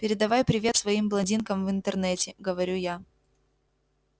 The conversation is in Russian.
передавай привет своим блондинкам в интернете говорю я